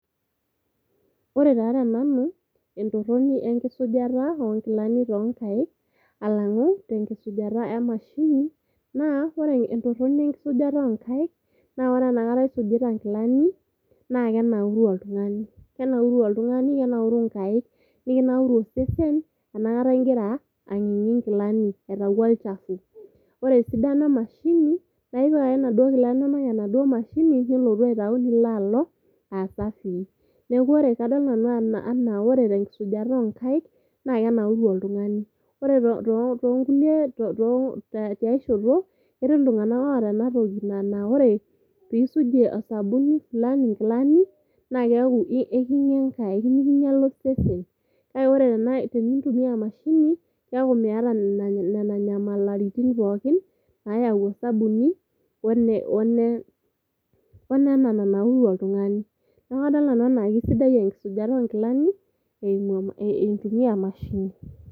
ore taa tenanu entoroni enkisujata oonkilani too nkaik alangu tenkisujata emashini , naa ore entoroni enkisujata oonkaik , na ore enakata isujita nkilani naa kenauru oltungani, . Kenauru oltungani , kenauru nkaik , nikinauru osesen enakata ingira angingi nkilani aitayu olchafu . Ore esidano emashini naa ipik ake inaduoo kilani inonok emashini , enaduoo mashini , nilotu aitayu , nilotu alo aasafii. Niaku ore kadolta nanu ajo ore tenkisujata oonkaik naa kenauru oltungani . Ore toonkulie , tiay shoto , ketii iltunganak oota enatoki na naore pisuj osabuni fulani nkilani naa keaku ekinyiala nkaik , nikinyiala osesen . Kake ore tenintumia emashini keaku miata nena nyamalaitin pookin nayau osabuni one one nene nanauru oltungani . Niaku kadol nanu ajo kisidai enkisujata onkilani eimu eitumia emashini.